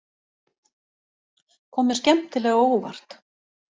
Kom mér skemmtilega á óvart